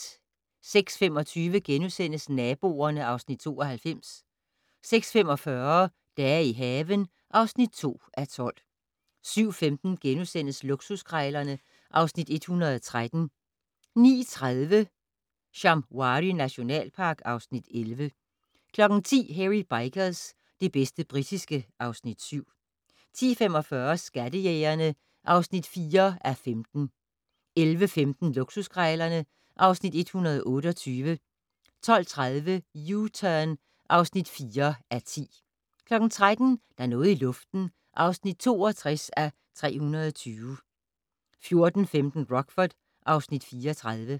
06:25: Naboerne (Afs. 92)* 06:45: Dage i haven (2:12) 07:15: Luksuskrejlerne (Afs. 113)* 09:30: Shamwari nationalpark (Afs. 11) 10:00: Hairy Bikers - det bedste britiske (Afs. 7) 10:45: Skattejægerne (4:15) 11:15: Luksuskrejlerne (Afs. 128) 12:30: U-Turn (4:10) 13:00: Der er noget i luften (62:320) 14:15: Rockford (Afs. 34)